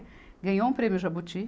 Ganhou um prêmio Jabuti.